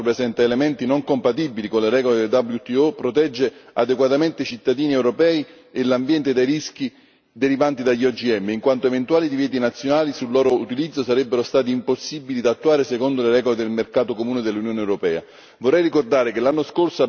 Non solo la proposta, che tra l'altro presenta elementi non compatibili con le regole WTO, non protegge adeguatamente i cittadini europei e l'ambiente dai rischi derivanti dagli OGM, in quanto eventuali divieti nazionali sul loro utilizzo sarebbero stati impossibili da attuare, secondo le regole del mercato comune dell'Unione europea.